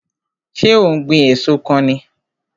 So ó ń gbìn èso kan ni?